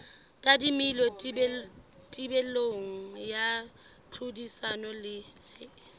tadimilwe thibelo ya tlhodisano le